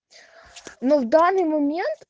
ну в данный момент